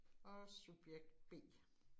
Og subjekt B